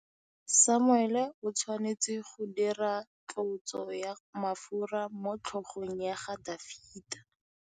Samuele o tshwanetse go dirisa tlotsô ya mafura motlhôgong ya Dafita.